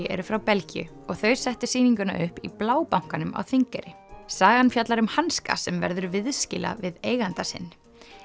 eru frá Belgíu og þau settu sýninguna upp í á Þingeyri sagan fjallar um hanska sem verður viðskila við eiganda sinn